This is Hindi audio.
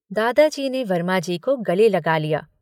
दादाजी ने वर्माजी को गले लगा लिया।